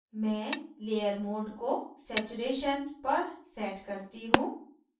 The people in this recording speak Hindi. मैं layer mode को saturation पर set करती हूँ